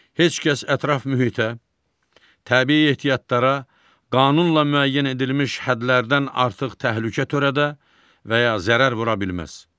Heç kəs ətraf mühitə, təbii ehtiyatlara qanunla müəyyən edilmiş hədlərdən artıq təhlükə törədə və ya zərər vura bilməz.